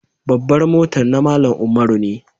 Babbar motan na Mallam Umaru ne.